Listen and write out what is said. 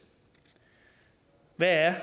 hvad er